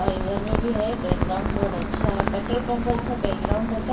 और इधर में भी है बैकग्राउंड बहुत अच्छा है पेट्रोल पंप का जैसे बैकग्राउंड है।